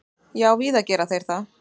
Já, víða gera þeir það.